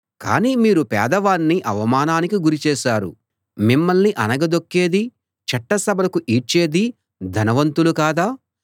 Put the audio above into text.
కానీ మీరు పేదవాణ్ణి అవమానానికి గురి చేశారు మిమ్మల్ని అణగదొక్కేదీ చట్ట సభలకు ఈడ్చేదీ ధనవంతులు కాదా